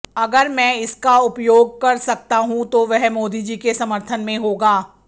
अगर मैं इसका उपयोग कर सकता हूं तो वह मोदी जी के समर्थन में होगा